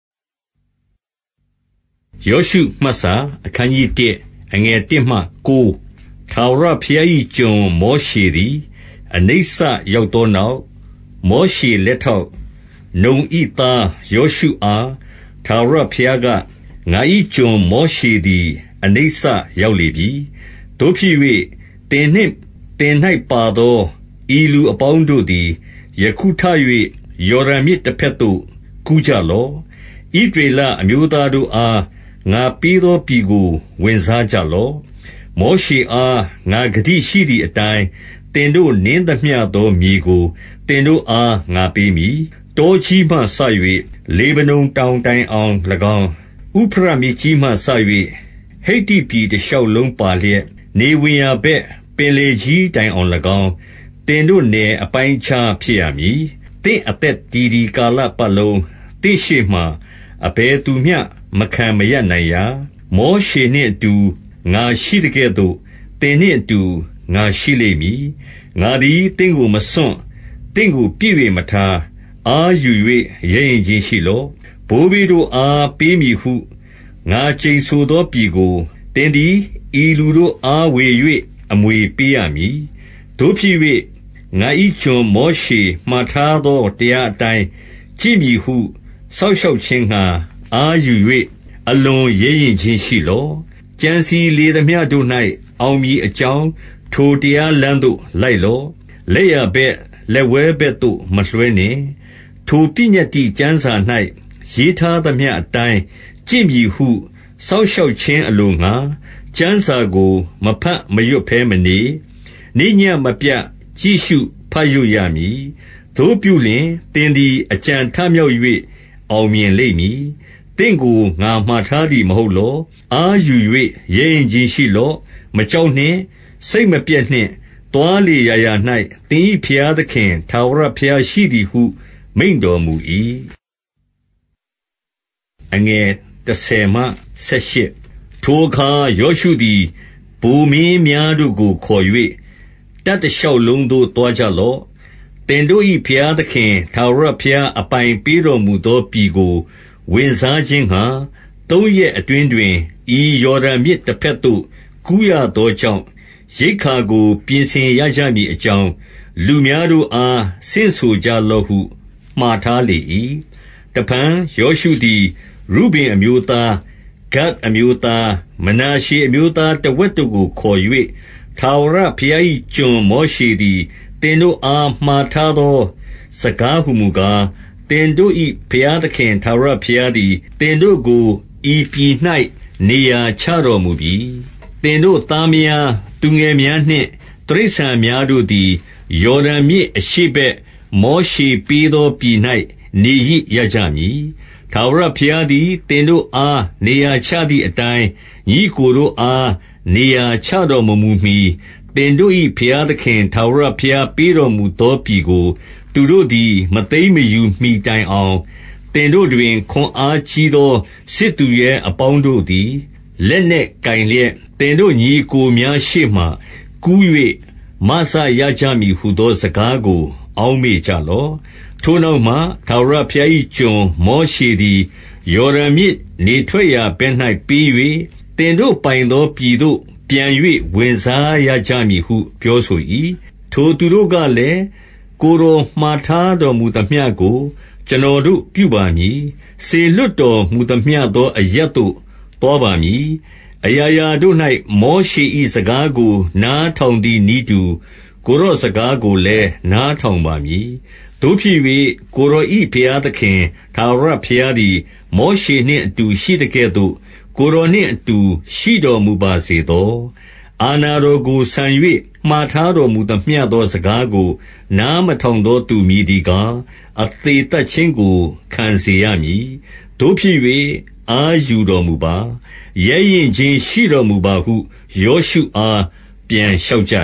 ယောရှုမှတ်စာ။ အခနျး 1 အခနျး ၁ ထာဝရဘုရား၏ ကျွန်မောရှေသည် အနိစ္စ ရောက်သောနောက်၊ မောရှေလက်ထောက်၊ နုန်၏သား ယောရှုအား ထာဝရဘုရားက၊ ငါ၏ကျွန်မောရှေသည် အနိစ္စရောက်လေပြီ။ သို့ဖြစ်၍၊ သင်နှင့် သင်၌ပါသော ဤလူအပေါင်းတို့သည် ယခုထ၍ ယော်ဒန်မြစ်တဘက်သို့ ကူးကြလော့။ ဣသရေ လအမျိုးသားတို့အား ငါပေးသောပြည်ကို ဝင်စားကြလော့။ မောရှေအား ငါဂတိရှိသည်အတိုင်း သင်တို့နင်း သမျှသောမြေကို သင်တို့အား ငါပေးမည်။ တောကြီးမှစ၍ လေဗနုန်တောင်တိုင်အောင် ၎င်း၊ ဥဖရတ်မြစ်ကြီးမှစ၍ ဟိတ္တိပြည်တရှောက်လုံး ပါလျက်၊ နေဝင်ရာဘက် ပင်လယ်ကြီးတိုင်အောင်၎င်း၊ သင်တို့နယ် အပိုင်းအခြားဖြစ်ရမည်။ သင့်အသက်တည်သည် ကာလပတ်လုံး သင့်ရှေ့ မှာ အဘယ်သူမျှမခံမရပ်နိုင်ရာ။ မောရှေနှင့်အတူ ငါရှိ သကဲ့သို့ သင်နှင့်အတူ ငါရှိလိမ့်မည်။ ငါသည် သင့်ကို မစွန့်၊ သင့်ကိုပစ်၍မထား။ အားယူ၍ ရဲရင့်ခြင်းရှိလော့။ ဘိုးဘေးတို့အား ပေးမည်ဟု ငါကျိန်ဆိုသောပြည်ကို သင်သည် ဤလူတို့ အားဝေ၍ အမွေပေးရမည်။ သို့ဖြစ်၍ ငါ၏ကျွန်မောရှေ မှာထားသော တရားအတိုင်း ကျင့်မည်ဟု စောင့်ရှောက်ခြင်းငှါ အားယူ ၍ အလွန်ရဲရင့်ခြင်းရှိလော့။ ကြံစည်လေသမျှတို့၌ အောင်မည်အကြောင်း ထိုတရားလမ်းသို့ လိုက်လော့။ လက်ျာဘက်၊ လက်ဝဲဘက်သို့ မလွှဲနှင့်။ ထိုပညတ္တိကျမ်းစာ၌ ရေးထားသမျှအတိုင်း ကျင့် မည်ဟု စောင့်ရှောက်ခြင်းအလိုငှါ ကျမ်းစာကို မဘတ် မရွတ်ဘဲမနေ၊ နေ့ညဉ့်မပြတ် ကြည့်ရှုဘတ်ရွတ်ရမည်။သို့ပြုလျှင် သင်သည် အကြံထမြောက်၍ အောင်မြင်လိမ့် မည်။ သင့်ကို ငါမှာထားသည်မဟုတ်လော။ အားယူ၍ ရဲရင့်ခြင်းရှိလော့။ မကြောက်နှင့်၊ စိတ်မပျက်နှင့်။ သွား လေရာရာ၌ သင်၏ဘုရားသခင် ထာဝရဘုရားရှိသည်ဟု မိန့်တော်မူ၏။ ထိုအခါ ယောရှုသည် ဗိုလ်မင်းများတို့ကို ခေါ်၍၊ တပ်တရှောက်လုံးသို့ သွားကြလော့။ သင်တို့၏ ဘုရားသခင် ထာဝရဘုရား အပိုင်ပေးတော်မူသောပြည် ကို ဝင်စားခြင်းငှါ၊ သုံးရက်အတွင်းတွင် ဤယော်ဒန်မြစ် တဘက်သို့ ကူးရသောကြောင့် ရိက္ခာကို ပြင်ဆင်ရကြမည် အကြောင်း၊ လူများတို့အား ဆင့်ဆိုကြလော့ဟု မှာထား လေ၏။ တဖန် ယောရှုသည် ရုဗင်အမျိုးသား၊ ဂဒ်အမျိုး သား၊ မနာရှေအမျိုးသားတဝက်တို့ကို ခေါ်၍၊ ထာဝရဘုရား၏ ကျွန်မောရှေသည်၊ သင်တို့ အား မှာထားသော စကားဟူမူကား၊ သင်တို့၏ဘုရားသခင် ထာဝရဘုရားသည် သင်တို့ကို ဤပြည်၌ နေရာချတော်မူပြီ။ သင်တို့သားမယား၊ သူငယ်များနှင့် တိရစ္ဆာန် များတို့သည် ယော်ဒန်မြစ်အရှေ့ဘက် မောရှေပေးသော ပြည်၌ နေရစ်ရကြမည်။ ထာဝရဘုရားသည် သင်တို့အား နေရာချသည် အတိုင်း၊ ညီအစ်ကိုတို့အား နေရာချတော်မမူမှီ သင်တို့၏ ဘုရားသခင် ထာဝရဘုရားပေးတော်မူသောပြည်ကို သူတို့သည် မသိမ်းမယူမှီတိုင်အောင်၊ သင်တို့တွင် ခွန်အား ကြီးသော စစ်သူရဲအပေါင်းတို့သည် လက်နက်ကိုင်လျက်၊ သင်တို့ညီအစ်ကိုများရှေ့မှာ ကူး၍ မစရကြမည်ဟူသော စကားကို အောက်မေ့ကြလော့။ ထိုနောက်မှ ထာဝရ ဘုရား၏ကျွန် မောရှေသည် ယော်ဒန်မြစ် နေထွက်ရာ ဘက်၌ပေး၍၊ သင်တို့ပိုင်သောပြည်သို့ ပြန်၍ ဝင်စားရကြ မည်ဟု ပြောဆို၏။ ထိုသူတို့ကလည်း၊ ကိုယ်တော်မှာထားတော်မူ သမျှကို ကျွန်တော်တို့ပြုပါမည်။ စေလွှတ်တော်မူသမျှ သော အရပ်သို့ သွားပါမည်။ အရာရာတို့၌ မောရှေ၏စကားကို နားထောင် သည်နည်းတူ ကိုယ်တော်စကားကိုလည်း နားထောင်ပါ မည်။ သို့ဖြစ်၍ ကိုယ်တော်၏ ဘုရားသခင် ထာဝရဘုရား သည် မောရှေနှင့်အတူ ရှိသကဲ့သို့ ကိုယ်တော်နှင့်အတူ ရှိတော်မူပါစေသော။ အာဏာတော်ကို ဆန်၍၊ မှာထားတော်မူသမျှ သောစကားကို နားမထောင်သောသူ မည်သည်ကား၊ အသေသတ်ခြင်းကို ခံစေရမည်။ သို့ဖြစ်၍ အားယူတော် မူပါ။ ရဲရင့်ခြင်းရှိတော်မူပါဟု ယေရှုအား ပြန်လျှောက် ကြ